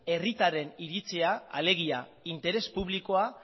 herritarren iritzia alegia interes publikoa